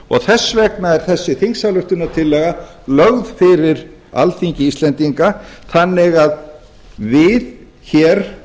og þess vegna er þessi þingsályktunartillaga lögð fyrir alþingi íslendinga þannig að við hér